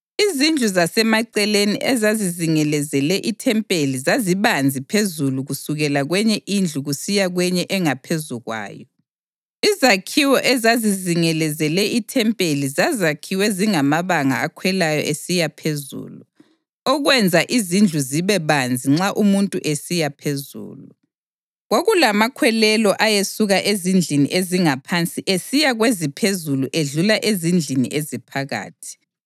Izindlu zasemaceleni ezazizingelezele ithempeli zazibanzi phezulu kusukela kwenye indlu kusiya kwenye engaphezu kwayo. Izakhiwo ezazizingelezele ithempeli zazakhiwe zingamabanga akhwelayo esiya phezulu, okwenza izindlu zibe banzi nxa umuntu esiya phezulu. Kwakulamakhwelelo ayesuka ezindlini ezingaphansi esiya kweziphezulu edlula ezindlini eziphakathi.